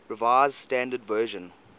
revised standard version